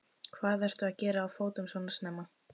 Hvað ertu að gera á fótum svona snemma?